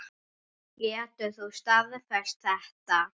Getur þú staðfest þetta?